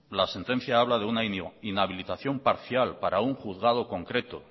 la sentencia habla de una inhabilitación parcial para un juzgado concreto